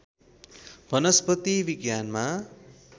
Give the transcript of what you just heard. वनस्पति विज्ञानमा